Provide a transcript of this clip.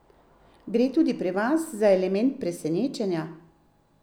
Gre tudi pri vas za element presenečenja?